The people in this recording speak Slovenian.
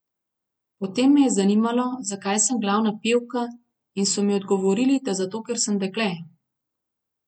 Potem me je zanimalo, zakaj sem glavna pevka, in so mi odgovorili, da zato, ker sem dekle.